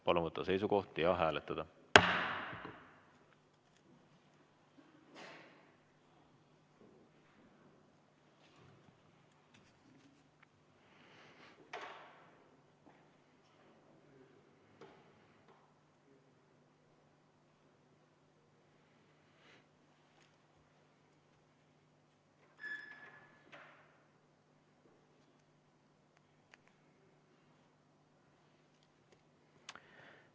Palun võtta seisukoht ja hääletada!